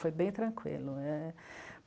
Foi bem tranquilo, é...